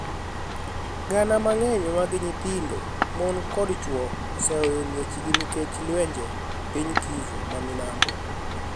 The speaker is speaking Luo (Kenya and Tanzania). Gania manig'eniy mag niyithinido, moni, kod chwo oseweyo miechgi niikech lwenije piniy Kivu ma milambo..